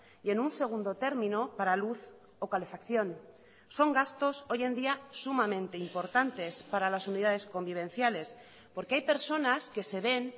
y en un segundo término para luz o calefacción son gastos hoy en día sumamente importantes para las unidades convivenciales porque hay personas que se ven